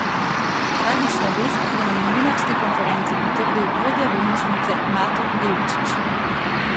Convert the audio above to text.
Tragično vest je na novinarski konferenci potrdil vodja bolnišnice Mato Devčić.